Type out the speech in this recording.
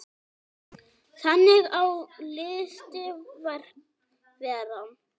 Þannig á listin að vera.